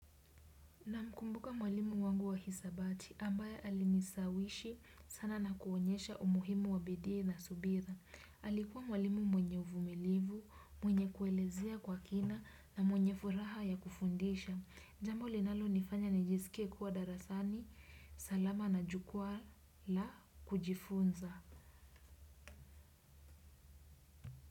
Namkumbuka mwalimu wangu wa hisabati ambaye alinishawishi sana na kuonyesha umuhimu wa bidii na subira. Alikuwa mwalimu mwenye uvumilivu, mwenye kuelezea kwa kina na mwenye furaha ya kufundisha. Jambo linalonifanya nijisike kuwa darasani, salama na jukwaa la kujifunza.